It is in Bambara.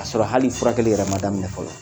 K'a sɔrɔ hali furakɛli yɛrɛ ma daminɛ fɔlɔ